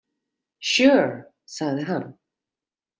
Sure, sagði hann.